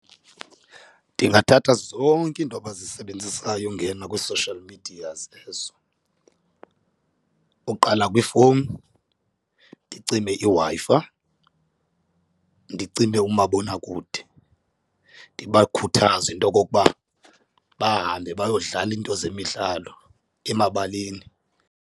Ndingathatha zonke iinto abazisebenzisayo ungena kwii-social medias ezo, uqala kwiifowuni ndicime iWi-Fi, ndicime umabonakude ndibakhuthaze into okokuba bahambe bayodlala iinto zemidlalo emabaleni.